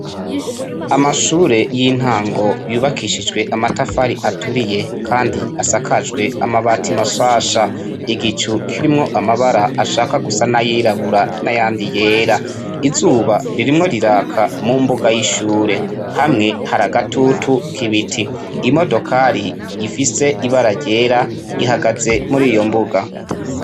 Amashure y'intango yubakishijwe amatafari aturiye kandi asakajwe amabati mashasha. Igicu kirimwo amabara ashaka gusa n'ayirabura n'ayandi yera. Izuba ririmwo riraka mu mbuga y'ishure. Hamwe hari agatutu k'ibiti. Imodokari ifise ibara ryera ihagaze muri iyo mbuga.